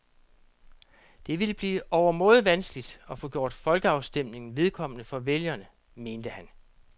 Det ville blive overmåde vanskeligt at få gjort folkeafstemningen vedkommende for vælgerne, mente han.